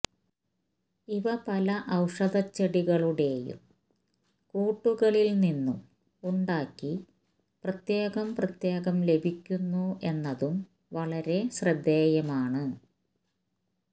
ഇവ പല ഔഷധച്ചെടികളുടെയും കൂട്ടുകളില് നിന്നും ഉണ്ടാക്കി പ്രത്യേകം പ്രത്യേകം ലഭിക്കുന്നു എന്നതും വളരെ ശ്രദ്ധേയമാണ്